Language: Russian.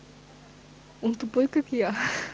он тупой как я